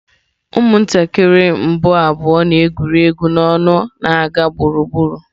Ụmụntakịrị mbụ abụọ na-egwuri egwu n'ọṅụ na-aga gburugburu.